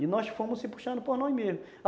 E nós fomos nos puxando por nós mesmos.